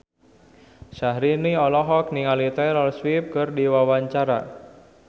Syahrini olohok ningali Taylor Swift keur diwawancara